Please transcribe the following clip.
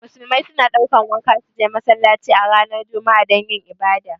Musulmai su na ɗaukan wanka su je masallaci a ranar juma'a dan yin ibada